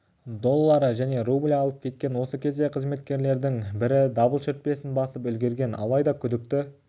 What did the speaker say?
доллары және рубль алып кеткен осы кезде қызметкерлердің бірі дабыл шүртпесін басып үлгерген алайда күдікті